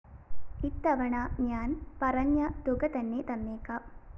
ഇത്തവണ ഞാന്‍ പറഞ്ഞതുക തന്നെതന്നേക്കാം